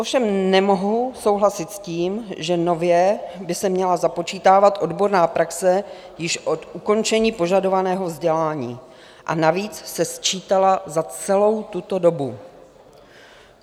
Ovšem nemohu souhlasit s tím, že nově by se měla započítávat odborná praxe již od ukončení požadovaného vzdělání, a navíc se sčítala za celou tuto dobu.